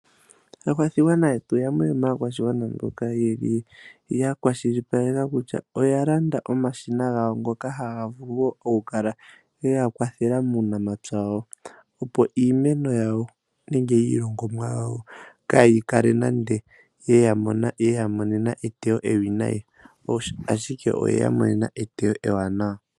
Aakwashigwana yetu yamwe yomaakwashigwana mboka yeli yakwashilipalela kutya oya landa omashina gawo ngoka haga vuku okukala geya kwathela muunamapya wawo. Opo iimeno yawo nenge iilongomwa yawo kaayikale nande yeya monena etewo ewinayi . Ashike oyeya monena etewo ewanawa.